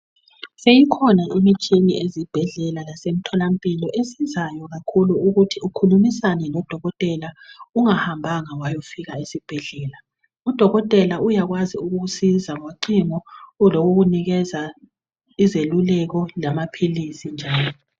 Seyikhona imitshina ezibhedlela lemtholampilo esizayo kakhulu ukuthi ukhulimisane lodokotela ungahamba wayofika esibhedlela. Udokotela uyakwazi ukukusiza ngocingo ngokukunikeza izeluleko lamaphilisi njalo